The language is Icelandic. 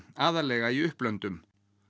aðallega í upplöndum